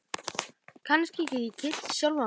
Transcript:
Kannski get ég kyrkt sjálfan mig?